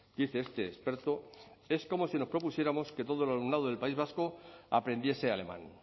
dice este experto es como si nos propusiéramos que todo el alumnado del país vasco aprendiese alemán